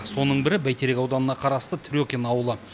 соның бірі бәйтерек ауданына қарасты трекин ауылы